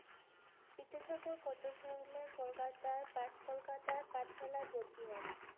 বিদ্যাসাগর কত সালে কলকাতাই পাট কোলকাতাই পাটশালাই ভর্তি হয়?